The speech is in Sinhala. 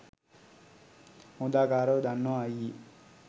හොදාකාරව දන්නව අයියේ.